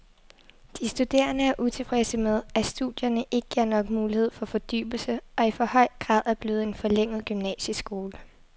De studerende er utilfredse med, at studierne ikke giver nok mulighed for fordybelse og i for høj grad er blevet en forlænget gymnasieskole.